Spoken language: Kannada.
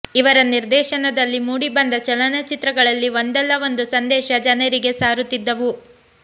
ಇವರ ನಿರ್ದೇಶನದಲ್ಲಿ ಮೂಡಿ ಬಂದ ಚಲನಚಿತ್ರಗಳಲ್ಲಿ ಒಂದಲ್ಲ ಒಂದು ಸಂದೇಶ ಜನರಿಗೆ ಸಾರುತಿದ್ದವು